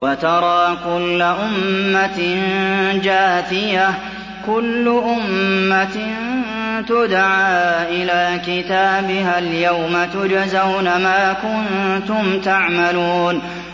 وَتَرَىٰ كُلَّ أُمَّةٍ جَاثِيَةً ۚ كُلُّ أُمَّةٍ تُدْعَىٰ إِلَىٰ كِتَابِهَا الْيَوْمَ تُجْزَوْنَ مَا كُنتُمْ تَعْمَلُونَ